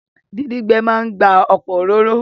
Díndín gbẹ máa n gba ọ̀pọ̀ òróró